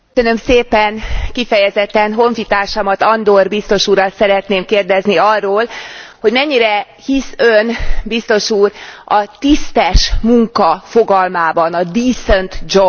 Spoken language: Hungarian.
Kifejezetten honfitársamat, Andor biztos urat szeretném kérdezni arról, hogy mennyire hisz Ön, biztos úr, a tisztes munka fogalmában, a decent job fogalmában?